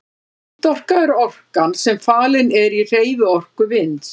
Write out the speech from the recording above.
Vindorka er orkan sem falin er í hreyfiorku vinds.